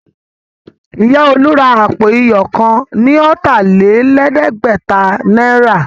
Ìya olú ra àpò iyọ̀ kan ní ọ̀tà-lé-lẹ̀ẹ́dẹ́gbẹ̀ta náírà